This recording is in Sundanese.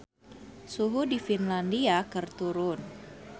Suhu di Finlandia keur turun